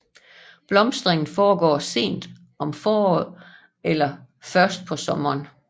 Blomstringen foregår sent om foråret eller først på sommeren